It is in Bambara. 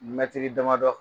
Mɛtiri damadɔ